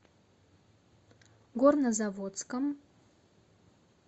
горнозаводском